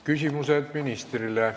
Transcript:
Küsimused ministrile.